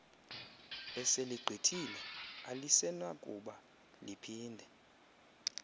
eseligqithile alisenakuba liphinde